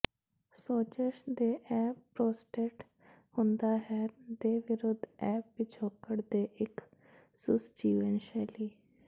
ਸੋਜਸ਼ ਦੇ ਇਹ ਪ੍ਰੋਸਟੇਟ ਹੁੰਦਾ ਹੈ ਦੇ ਵਿਰੁੱਧ ਇਹ ਪਿਛੋਕੜ ਦੇ ਇੱਕ ਸੁਸ ਜੀਵਨ ਸ਼ੈਲੀ